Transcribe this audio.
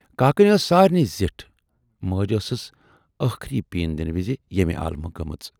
کاکٮ۪ن ٲس سارِنٕے زِٹھ۔ مٲج ٲسٕس ٲخری پیٖن دِنہٕ وِزِ ییمہِ عالمہٕ گٔمٕژ۔